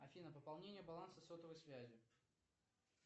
афина пополнение баланса сотовой связи